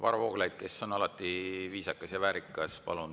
Varro Vooglaid, kes on alati viisakas ja väärikas, palun!